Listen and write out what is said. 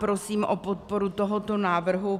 Prosím o podporu tohoto návrhu.